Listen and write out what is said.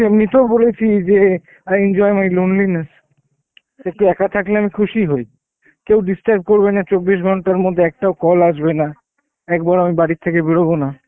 এমনিতেও বলেছি যে I enjoy my lonelyness, একটু একা থাকলে আমি খুশি হই, কেউ disturb করবে না চব্বিশ ঘন্টার মধ্যে একটাও call আসবে না একবার ও আমি বারিথেকে বেরোব না.